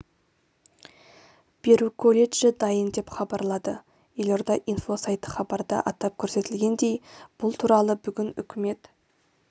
беру колледжі дайын деп хабарлады елорда инфо сайты хабарда атап көрсетілгендей бұл туралы бүгін үкімет